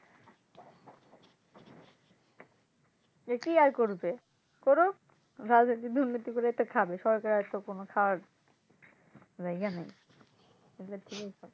যে কী আর করবে করুক দুর্নীতি করে খাবে সরকার আর খাওয়ার কোনো আর, জায়গা নেই